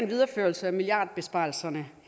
videreførelsen af milliardbesparelserne